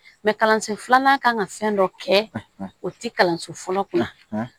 kalanso filanan kan ka fɛn dɔ kɛ o tɛ kalanso fɔlɔ kunna